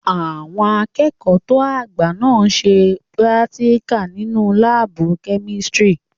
Àwọn akẹ́kọ̀ọ́ tó àgbà náà n ṣe púrátíkà nínu láàbù-kẹ́mísírì